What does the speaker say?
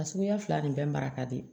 A suguya fila nin bɛɛ mara ka di